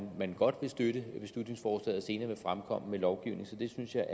man godt vil støtte beslutningsforslaget og senere vil fremkomme med lovgivning så det synes jeg